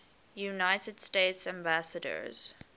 united states ambassadors